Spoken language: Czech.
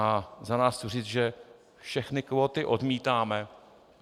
Já za nás chci říct, že všechny kvóty odmítáme.